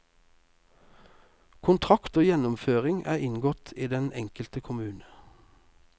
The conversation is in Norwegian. Kontrakt om gjennomføringen er inngått med den enkelte kommune.